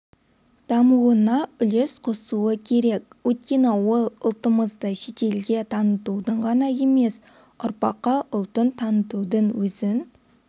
дамуына үлес қосуы керек өйткені ол ұлтымызды шетелге танытудың ғана емес ұрпаққа ұлтын танытудың өзін